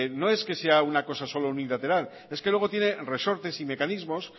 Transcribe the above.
no es que sea una cosa solo unilateral es que luego tiene resortes y mecanismos